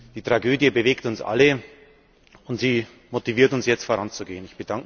Die Tragödie bewegt uns alle, und sie motiviert uns jetzt, voranzugehen.